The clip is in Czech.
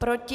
Proti?